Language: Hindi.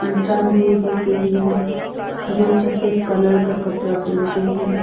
इंसान भी दिख रही है जो सफेद कलर का कपड़ा पहन के है।